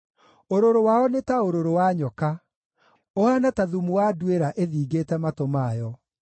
Ũrũrũ wao nĩ ta ũrũrũ wa nyoka, ũhaana ta thumu wa nduĩra ĩthingĩte matũ mayo,